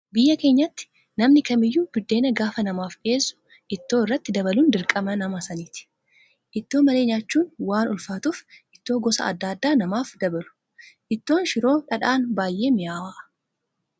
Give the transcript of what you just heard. Biyya keenyatti namni kamiyyuu buddeena gaafa namaaf dhiyeessu ittoo irratti dabaluun dirqama nama sanaati. Ittoo malee nyaachuun waan ulfaatuuf ittoo gosa adda addaa namaaf dabalu. Ittoon shiroon dhadhaan baay'ee mi'aawa.